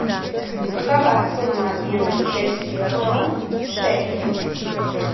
какова сумма обмена чешских крон в шекели